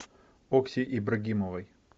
окси ибрагимовой